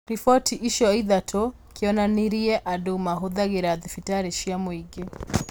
Riboti icio ithatũ kĩonanirie andũ mahũthagĩra thibitarĩ cia mũingĩ